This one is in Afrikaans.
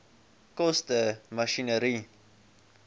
koste masjinerie